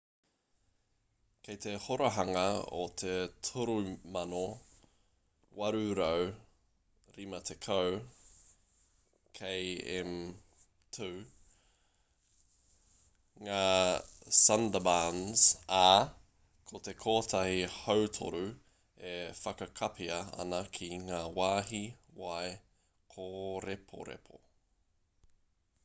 kei te horahanga o te 3,850 km2 ngā sundarbans ā ko te kotahi-hautoru e whakakapia ana ki ngā wāhi wai/kōreporepo